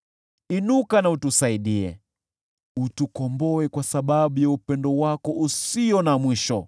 Inuka na utusaidie, utukomboe kwa sababu ya upendo wako usio na mwisho.